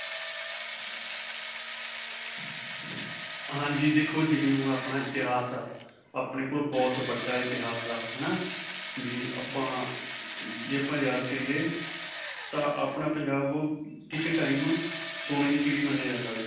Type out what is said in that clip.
ਹਾਂਜੀ. ਦੇਖੋ ਜਿਵੇਂ ਹੁਣ ਆਪਣਾ ਇਤਿਹਾਸ ਹੈ ਆਪਣੇ ਕੋਲ ਬਹੁਤ ਵੱਡਾ ਇਤਿਹਾਸ ਹੈ, ਹੈ ਨਾ ਵੀ ਆਪਾਂ, ਜੇ ਆਪਾਂ ਯਾਦ ਕਰਿਏ ਤਾਂ ਆਪਣਾ ਪੰਜਾਬ ਕਿਸੇ time ਸੋਨੇ ਦੀ ਚਿੜੀ ਮੰਨਿਆ ਜਾਂਦਾ ਸੀ .